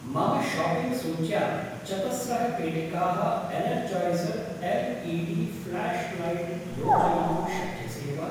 मम शाप्पिङ्ग् सूच्यां चतस्रः पेटिकाः Energizer L E D flashlight योजयितुं शक्यसे वा?